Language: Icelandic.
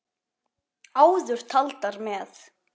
Áður taldar með